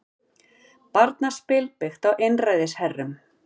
Barnaspil byggt á einræðisherrum